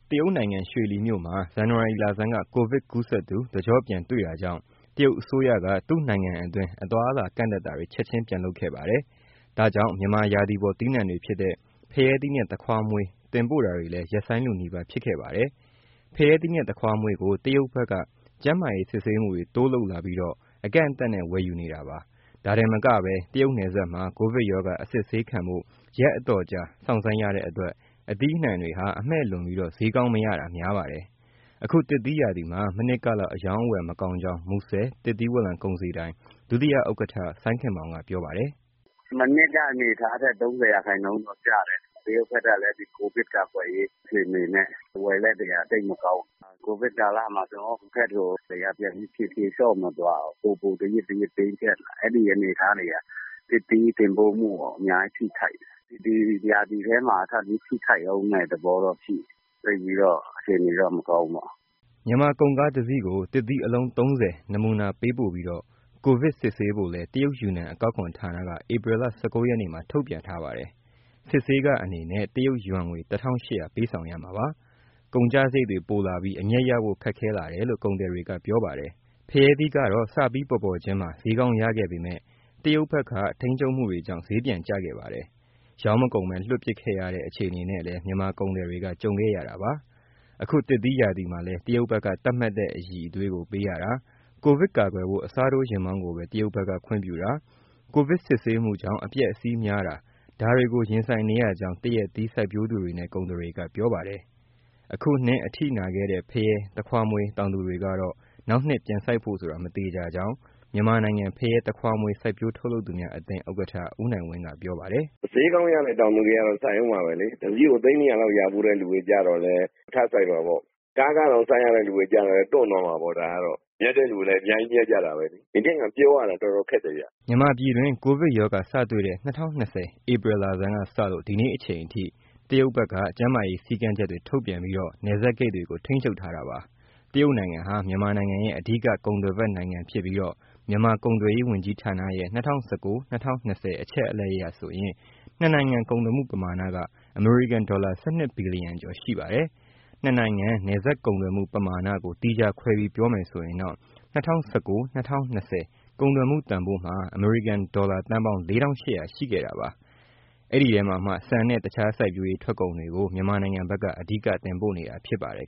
တရုတ်နိုင်ငံ ရွှေလီမြို့မှာ ဇန်နဝါရီလဆန်းက Covid ကူးစက်သူ တကျော့ပြန်တွေ့တာကြောင့် တရုတ်အစိုးရက သူ့နိုင်ငံအတွင်း အသွားအလာ ကန့်သတ်တာတွေ ချက်ချင်း ပြန်လုပ်ခဲ့ပါတယ်။ ဒါကြောင့် မြန်မာရာသီပေါ် သီးနှံတွေဖြစ်တဲ့ ဖရဲသီးနဲ့ သခွားမွှေး တင်ပို့တာတွေလည်း ရပ်ဆိုင်း လုနီးပါး ဖြစ်ခဲ့ပါတယ်။ ဖရဲသီးနဲ့ သခွားမွေးကို တရုတ်ဘက်က ကျန်းမာရေး စစ်ဆေးမှုတွေ တိုးလုပ်လာပြီး အကန့်အသတ်နဲ့ ဝယ်ယူပါတယ်။ ဒါတင်မက တရုတ်နယ်စပ် မှာ ကိုဗစ်ရောဂါ အစစ်ဆေးခံဖို့ ရက်အတော်ကြာ စောင့်ဆိုင်းရတဲ့အတွက် သီးနှံတွေဟာ အမှည့်လွန်ပြီး ဈေးကောင်းမရတာ များပါတယ်။ အခုသစ်သီးရာသီမှာ မနှစ်ကလောက် အရောင်းအဝယ် မကောင်းကြောင်း မူဆယ် သစ်သီးဝလံကုန်စည်ဒိုင် ဒုဥက္ကဋ္ဌ စိုင်းခင်မောင်က ပြောပါတယ်။ “မနှစ်က အနေအထားထက် ၃၀ ရာခိုင်နှုန်းလောက်ကျတယ်။ တရုပ်ဘက်ကလည်း ကိုဗစ်ကာကွယ်ရေး အခြေအနေတွေနဲ့ ဝယ်လက်တွေက သိပ်မကောင်းဘူး။ ကိုဗစ်ကာလမှာ ကျနော်တို့ဘက်ကို ပြန်ပြီး ဖြေလျှော့မသွားဘူး ပိုပိုပြီး တင်းကျပ်လာတယ်။ အဲဒီအနေအထားတွေက သစ်သီးတင်ပို့မှုကို အများကြီး ထိခိုက်တယ်။ ဒီရာသီထဲ ထပ်ပြီး ထိခိုက်မယ့်သဘောတော့ ရှိတယ်။ သိပ်ပြီး အခြေအနေတော့ မကောင်းဘူးပေါ့။” မြန်မာကုန်ကားတစီးကို သစ်သီး အလုံး ၃၀ နမူနာပေးပို့ပြီး ကိုဗစ်စစ်ဆေးဖို့လည်း တရုတ်ယူနန် အကောက်ခွန်ဌာနက ဧပြီလ ၁၉ ရက်မှာ ထုတ်ပြန်ပါတယ်။ စစ်ဆေးခအနေနဲ့ တရုတ်ယွမ်ငွေ ၁၈၀၀ ပေးဆောင်ရမှာပါ။ ကုန်ကျစရိတ်တွေ ပိုလာပြီး အမြတ်ရဖို့ ခက်ခဲလာတယ်လို့ ကုန်သည်တွေက ပြောပါတယ်။ ဖရဲသီးကတော့ စပြီးပေါ်ပေါ်ချင်းမှာ ဈေးကောင်းရခဲ့ပေမဲ့ တရုတ်ဘက်က ထိန်းချုပ်မှုတွေကြောင့် ဈေးပြန်ကျခဲ့ပါတယ်။ ရောင်းမကုန်ဘဲ လွှင့်ပစ်ခဲ့ရတဲ့ အခြေအနေနဲ့လည်း မြန်မာကုန်သည်တွေက ကြုံခဲ့ရတာပါ။ အခုသရက်သီးရာသီမှာလည်း တရုတ်ဘက်က သတ်မှတ်တဲ့ အရည်အသွေးကို ပေးရတာ၊ ကိုဗစ်ကာကွယ်ဖို့ အစားထိုးယာဉ်မောင်းကိုပဲ တရုတ်ဘက်က ခွင့်ပြုတာ၊ ကိုဗစ်စစ်ဆေးမှုကြောင့် အပျက်အစီးများတာ ဒါတွေကို ရင်ဆိုင်နေရကြောင်း သရက်သီး စိုက်ပျိုးသူတွေနဲ့ ကုန်သည်တွေက ပြောပါတယ်။ အခုနှစ်အထိနာခဲ့တဲ့ ဖရဲ၊ သခွားမွေး တောင်သူတွေကတော့ နောက်နှစ်ပြန်စိုက်ဖို့ဆိုတာ မသေချာကြောင်း မြန်မာနိုင်ငံ ဖရဲ၊ သခွားမွှေး စိုက်ပျိုး ထုတ်လုပ် သူများအသင်း ဥက္ကဋ္ဌ ဦးနိုင်ဝင်းက ပြောပါတယ်။ “ဈေးကောင်းရတဲ့ တောင်သူတွေကတော့ စိုက်ဦးမှာပဲလေ။ တစီးကို သိန်း ၂၀၀ လောက် ရဖူးတဲ့သူတွေကျတော့လည်း ထပ်စိုက်မှာပေါ့။ ကားခတောင် စိုက်ရတဲ့ သူတွေကျတော့လည်း တွန့်သွားမှာပေါ့ ဒါကတော့။ မြတ်တဲ့သူလည်း အများကြီး မြတ်ကြတာပဲလေ။ ဒီနှစ်က ပြောရတာ တော်တော်ခက်တယ်ဗျ။” မြန်မာပြည်တွင်း ကိုဗစ်ရောဂါစတွေ့တဲ့ ၂၀၂၀ ဧပြီလဆန်းကစလို့ ဒီနေ့အချိန်အထိ တရုတ်ဘက်က ကျန်းမာရေး စည်းကမ်းချက်တွေ ထုတ်ပြန်ပြီး နယ်စပ်ဂိတ်တွေကို ထိန်းချုပ်ထားတာပါ။ တရုတ်နိုင်ငံဟာ မြန်မာနိုင်ငံရဲ့ အဓိက ကုန်သွယ်ဖက်နိုင်ငံဖြစ်ပြီး မြန်မာကုန်သွယ်ရေး ဝန်ကြီးဌာနရဲ့၂၀၁၉- ၂၀၂၀ အချက်အလက်အရဆိုရင် နှစ်နိုင်ငံ ကုန်သွယ်မှု ပမာဏက အမေရိကန်ဒေါ်လာ ၁၂ ဘီလီယံကျော် ရှိပါတယ်။ နှစ်နိုင်ငံ နယ်စပ်ကုန်သွယ်မှု ပမာဏကို သီးခြားခွဲပြီး ပြောမယ်ဆိုရင်တော့ ၂၀၁၉- ၂၀၂၀ ကုန်သွယ်မှုတန်ဖိုး အမေရိကန်ဒေါ်လာ သန်းပေါင်း ၄၈၀၀ ရှိခဲ့တာပါ။ အဲဒီအထဲမှာ ဆန်နဲ့ တခြားစိုက်ပျိုးရေး ထွက်ကုန်တွေကို မြန်မာနိုင်ငံဘက်က အဓိက တင်ပို့နေတာ ဖြစ်ပါတယ်